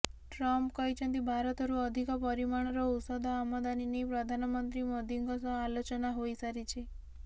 Trump କହିଛନ୍ତି ଭାରତରୁ ଅଧିକ ପରିମାଣର ଔଷଧ ଆମଦାନୀ ନେଇ ପ୍ରଧାନମନ୍ତ୍ରୀ ମୋଦିଙ୍କ ସହ ଆଲୋଚନା ହୋଇସାରିଛି